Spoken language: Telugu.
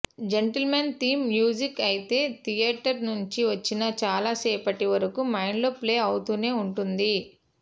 జెంటిల్మన్ థీమ్ మ్యూజిక్ అయితే థియేటర్ నుంచి వచ్చిన చాలా సేపటి వరకు మైండ్లో ప్లే అవుతూనే ఉంటుంది